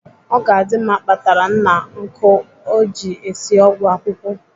Ogadimma kpatara nna nkụ o ji esi ọgwụ akwụkwụ.